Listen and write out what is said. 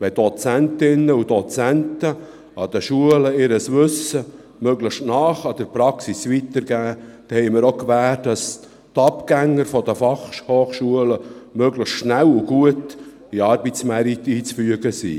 Wenn Dozentinnen und Dozenten an den Schulen ihr Wissen möglichst nahe an der Praxis weitergeben, haben wir die Gewähr, dass die Abgänger der Fachhochschulen möglichst schnell und gut in den Arbeitsmarkt eingeführt werden.